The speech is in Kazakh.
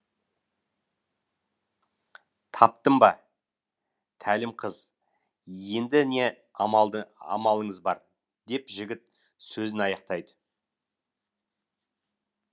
таптым ба тәлім қыз енді не амалыңыз бар деп жігіт сөзін аяқтайды